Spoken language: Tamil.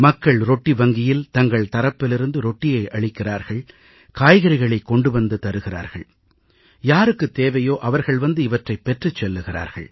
மக்கள் ரொட்டி வங்கியில் தங்கள் தரப்பிலிருந்து ரொட்டியை அளிக்கிறார்கள் காய்கறிகளை கொண்டு வந்து தருகிறார்கள் யாருக்குத் தேவையோ அவர்கள் வந்து இவற்றைப் பெற்றுச் செல்கிறார்கள்